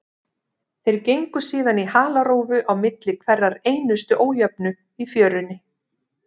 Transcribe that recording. Þeir gengu síðan í halarófu á milli hverrar einustu ójöfnu í fjörunni.